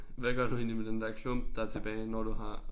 Hvad gør du egentlig med den der klump der tilbage når du har